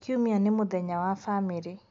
kiumia nĩ mũthenya wa bamirĩ